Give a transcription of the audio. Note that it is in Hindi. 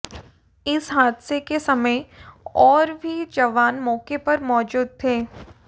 इस हादसे के समय और भी जवान मौके पर मौजूद थे